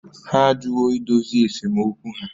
Ha ajụwo idozi esemokwu ha